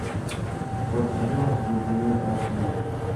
подъем с глубины аш ди